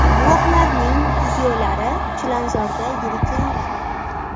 Guvohlarning videolari Chilonzorda yirik yong‘in.